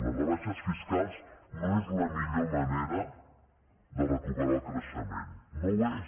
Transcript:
les rebaixes fiscals no és la millor manera de recuperar el creixement no ho és